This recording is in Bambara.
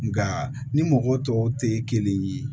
Nka ni mɔgɔ tɔw tɛ kelen ye